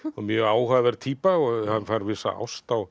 mjög áhugaverð týpa hann fær vissa ást á